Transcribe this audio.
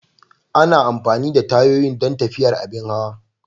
Ana amfani da tayoyi don tafiyar abin hawa.